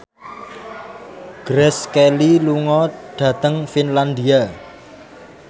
Grace Kelly lunga dhateng Finlandia